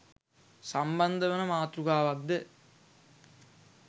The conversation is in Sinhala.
සම්බන්ධ වන මාතෘකාවක්ද